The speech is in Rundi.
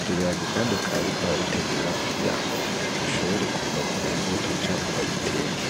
ivyo biharage kandi bakaba bariko barabitegura kugira ngo bishobore kuvamwo imbuto canke babiteke.